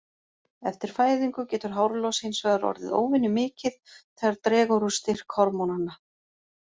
Eftir fæðingu getur hárlos hins vegar orðið óvenjumikið þegar dregur úr styrk hormónanna.